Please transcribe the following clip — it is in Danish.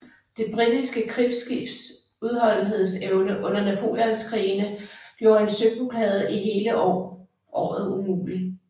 Det britiske krigsskibs udholdenhedsevne under Napoleonskrigene gjorde en søblokade i hele året mulig